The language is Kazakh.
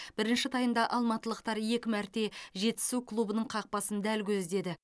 бірінші таймда алматылықтар екі мәрте жетісу клубының қақпасын дәл көздеді